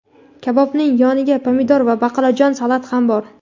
Kabobning yoniga pomidor va baqlajonli salat ham bor.